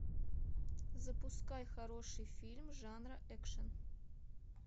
запускай хороший фильм жанра экшн